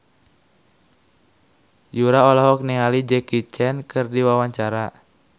Yura olohok ningali Jackie Chan keur diwawancara